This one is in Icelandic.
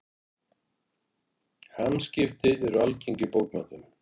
Hamskipti eru algeng í bókmenntum.